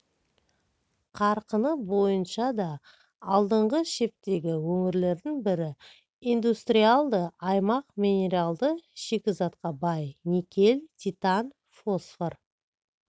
қарқыны бойынша да алдыңғы шептегі өңірлердің бірі индустриалды аймақ минералды шикізатқа бай никель титан фосфор